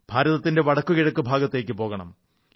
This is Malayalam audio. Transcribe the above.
ഭാരതത്തിന്റെ വടക്കു കിഴക്കു ഭാഗത്തേക്കു പോകണം